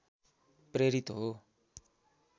प्रेरित हो